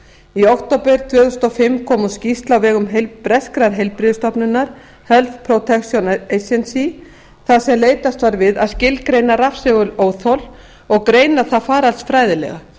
í október tvö þúsund og fimm kom út skýrsla á vegum breskrar heilbrigðisstofnunar þar sem leitast var við að skilgreina rafsegulóþol og greina það faraldsfræðilega